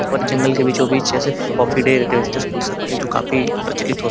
और जंगल के बीचोंबीच ऐसे कॉफी डेंस खोल सकते हैं जो काफी प्रचलित होते हैं।